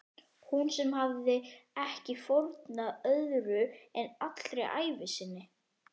Hún sem hafði ekki fórnað öðru en allri ævi sinni.